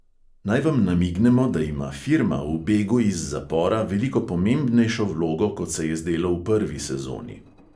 Naj vam namignemo, da ima firma v begu iz zapora veliko pomembnejšo vlogo, kot se je zdelo v prvi sezoni.